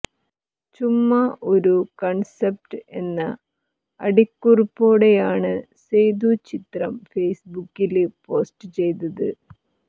ചുമ്മാ ഒരു കണ്സപ്റ്റ് എന്ന അടിക്കുറിപ്പോടെയാണ് സേതു ചിത്രം ഫേസ്ബുക്കില് പോസ്റ്റ് ചെയ്തത്